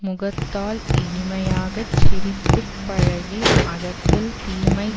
முகத்தால் இனிமையாகச் சிரித்து பழகி அகத்தில் தீமை